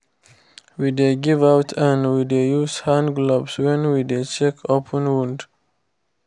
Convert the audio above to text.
we dey give out and we dey use hand glove when we dey check open wound